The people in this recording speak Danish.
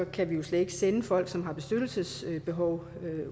kan vi jo slet ikke sende folk som har beskyttelsesbehov